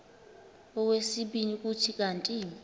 okwesibini kuthi kanti